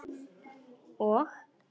Og?